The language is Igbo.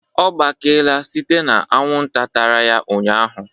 Ọ gbakeela site na anwụnta tara ụnyahụ